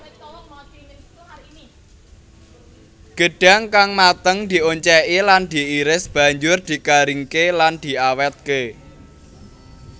Gedhang kang mateng dioncéki lan diiris banjur digaringké lan diawétké